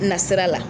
Na sira la